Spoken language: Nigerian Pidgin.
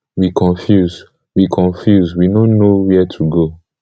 we confuse we confuse we no know wia to go